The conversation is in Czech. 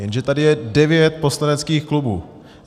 Jenže tady je devět poslaneckých klubů.